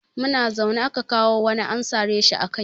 Muna zaune aka kawo wani an sare shi a kai.